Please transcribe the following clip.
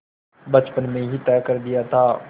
बचपन में ही तय कर दिया था